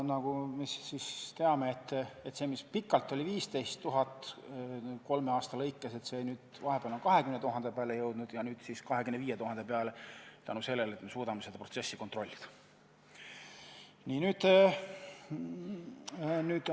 Nagu me teame, see, mis pikalt oli 15 000 kolme aasta arvestuses, on vahepeal 20 000 peale jõudnud ja nüüd siis 25 000 peale, tänu sellele, et me suudame seda protsessi kontrollida.